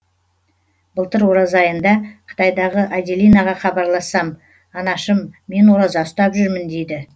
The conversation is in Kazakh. былтыр ораза айында қытайдағы аделинаға хабарлассам анашым мен ораза ұстап жүрмін дейді